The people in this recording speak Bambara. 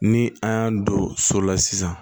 Ni an y'a don so la sisan